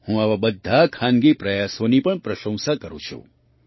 હું આવા બધા ખાનગી પ્રયાસોની પણ પ્રશંસા કરું છું